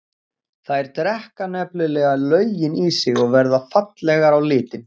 Þær drekka nefnilega löginn í sig og verða fallegar á litinn.